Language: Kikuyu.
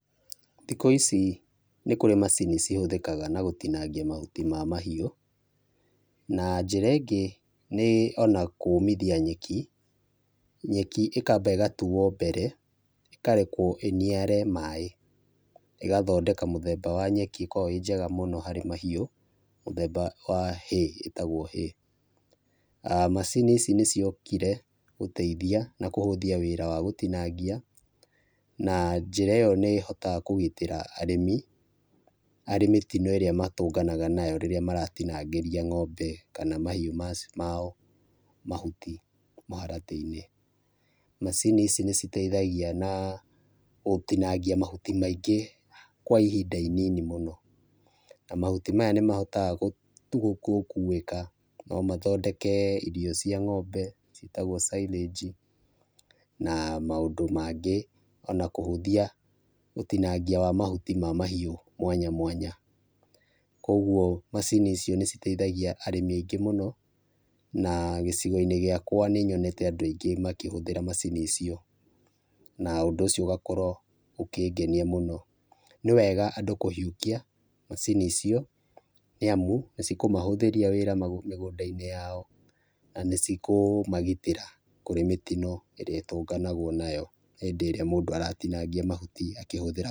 Thikũ ici nĩ kũrĩ na macini cihũthĩkaga na gũtinangia mahuti ma mahiũ, na njĩra ĩngĩ nĩ ona kũmithia nyeki, nyeki ĩkamba ĩgatuo mbere ĩkarekwo ĩniare maĩ, ĩgathondeka mũthemba wa nyeki ĩkoragwo ĩĩ njega mũno harĩ mahiũ, mũthemba wa hay, ĩtagwo hay, macini ici nĩ ciokire gũteithia na kũhũthia wĩra wa gũtinangia na njĩra ĩyo nĩhotaga ĩyo nĩ hotaga kũgitĩra arĩmi, harĩ mĩtino ĩrĩa matũnganaga nayo rĩrĩa maratinangĩria ng'ombe kana mahiũ mao mahuti mũharatĩ-inĩ. Macini ici nĩ citeithagia na gũtinangia mahuti maingĩ kwa ihinda inini mũno, na mahuti maya nĩ mahotaga gũkuĩka no mathondeke irio cia ng'ombe, ciĩtagwo syringe na maũndũ mangĩ ona kũhũthia, ũtinangia wa mahuti ma mahiũ mwanya mwanya, kwoguo macini icio nĩ citeithagia arĩmi aingĩ mũno, na gĩcigo-inĩ gĩakwa nĩ nyonete andũ aingĩ makĩhũthĩra macini icio na ũndũ ũcio ũgakorwo ũkĩngenia mũno, nĩ wega andũ kũiyũkia macini icio nĩ amu nĩ cikũmahũthĩria wĩra mĩgũnda-inĩ yao na cikũmagitĩra kũrĩ mĩtino ĩrĩa ĩrĩ ĩtũnganagwo nayo hĩndĩ ĩrĩa mũndũ aratinangia mahuti akĩhũthĩra.